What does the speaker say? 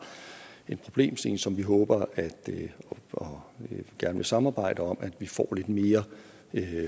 en problemstilling som vi håber og gerne vil samarbejde om at vi får lidt mere